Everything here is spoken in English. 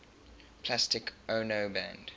plastic ono band